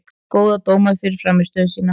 Pétur fékk góða dóma fyrir frammistöðu sína.